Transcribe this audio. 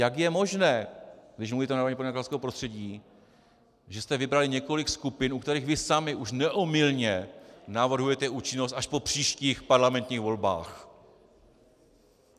Jak je možné, když mluvíte o narovnání podnikatelského prostředí, že jste vybrali několik skupin, u kterých vy sami už neomylně navrhujete účinnost až po příštích parlamentních volbách?